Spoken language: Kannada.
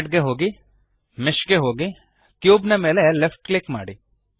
ಅಡ್ ಗೆ ಹೋಗಿ ಮೆಶ್ ಗೆ ಹೋಗಿ ಕ್ಯೂಬ್ ಮೇಲೆ ಲೆಫ್ಟ್ ಕ್ಲಿಕ್ ಮಾಡಿ